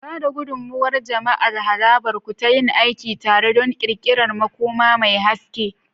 Ba da gudummawa ga jama'ar harabar ku ta yin aiki tare don ƙirƙirar makoma mai haske.